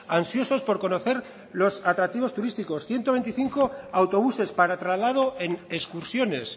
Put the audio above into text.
ansiosos por conocer los atractivos turísticos ciento veinticinco autobuses para traslado en excursiones